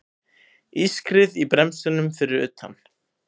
Ískrið í bremsunum fyrir utan.